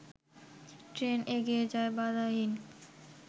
train এগিয়ে যায় বাধাহীন